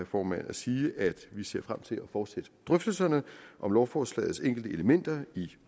formanden at sige at vi ser frem til at fortsætte drøftelserne om lovforslagets enkelte elementer i